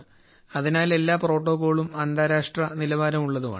അതിനാൽ എല്ലാ പ്രോട്ടോക്കോളുകളും അന്താരാഷ്ട്ര നിലവാരമുള്ളതാണ്